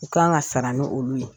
U kan ka sara ni olu ye !